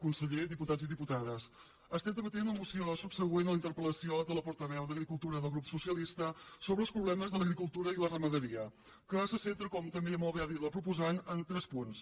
conseller diputats i diputades estem debatent la moció subsegüent a la interpeltaveu d’agricultura del grup socialista sobre els problemes de l’agricultura i la ramaderia que se centra com molt bé ha dit la proposant en tres punts